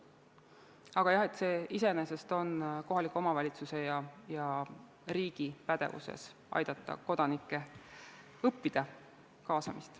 Aga jah, see iseenesest on kohaliku omavalitsuse ja riigi pädevuses, aidata kodanikke, et õppida kaasamist.